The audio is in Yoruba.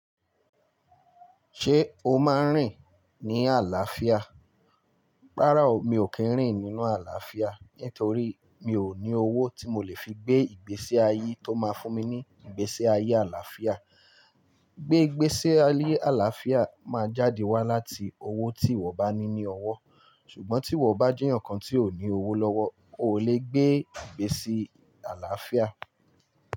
Ṣé o máa ń rìn ní àlàáfíà? Rárá o, mi ò kí ń rìn nínú àlàáfíà nítorí mi ò ní owó tí mo lè fi gbé ìgbésí ayé tó máa fún mi ní ìgbésí ayé àlàáfíà. Gbé ìgbésí ayé àlàáfíà, máa jáde wá láti owó tí ìwọ bá ní ní ọwọ́. Ṣùgbọ́n tí ìwọ bá jeyan kan tí ò ní owó lọ́wọ́, oo lè gbé ìgbésí àlàáfíà.